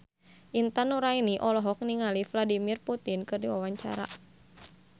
Intan Nuraini olohok ningali Vladimir Putin keur diwawancara